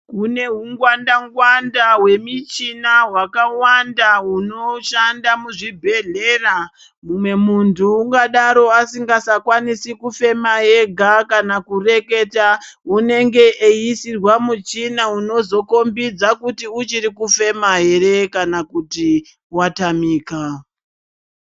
Kune hungwanda-ngwanda hwemichina hwakawanda hwunoshanda muzvibhedhlera. Mumwe muntu ungadaro asingasakwanisi kufema ega kana kureketa, unenge eiisirwa muchina unozokhombidza kuti uchirikufema ere kana kuti watamika.